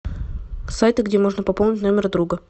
сайты где можно пополнить номер друга